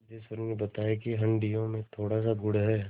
सिद्धेश्वरी ने बताया कि हंडिया में थोड़ासा गुड़ है